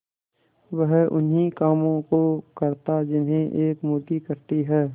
वह उन्ही कामों को करता जिन्हें एक मुर्गी करती है